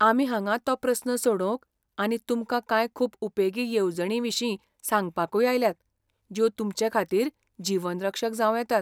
आमी हांगा तो प्रस्न सोडोवंकआनी तुमकां कांय खूब उपेगी येवजणींविशीं सांगपाकूय आयल्यात, ज्यो तुमचेखातीर जीवनरक्षक जावं येतात.